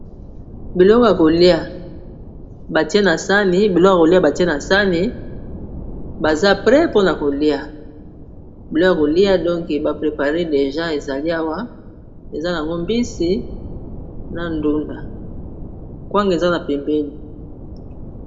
Biloko ya kolia batie na sani, biloko ya kolia batie na sani baza pre mpona kolia biloko ya kolia donk ba prepare deja ezali awa eza nango mbisi na ndunda kwanga eza na pembeni.